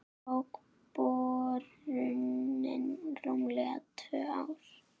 Tók borunin rúmlega tvö ár.